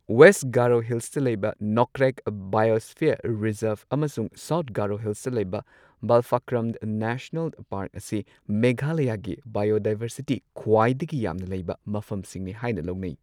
West Garo ꯍꯤꯜꯁꯇ ꯂꯩꯕ Nokrek biosphere reserve ꯑꯃꯁꯨꯡ ꯁꯥꯎꯊ ꯒꯥꯔꯣ ꯍꯤꯜ꯭ꯁꯇꯥ ꯂꯩꯕ ꯕꯥꯜꯐꯀ꯭ꯔꯝ ꯅꯦꯁꯅꯦꯜ ꯄꯥꯔꯛ ꯑꯁꯤ ꯃꯦꯘꯥꯂꯌꯥꯒꯤ ꯕꯥꯏꯑꯣꯗꯥꯏꯚꯔꯁꯤꯇꯤ ꯈ꯭ꯋꯥꯏꯗꯒꯤ ꯈꯨꯋꯥꯏꯗꯒꯤ ꯌꯥꯝꯅ ꯂꯩꯕ ꯃꯐꯝꯁꯤꯡꯅꯤ ꯍꯥꯏꯅ ꯂꯧꯅꯩ꯫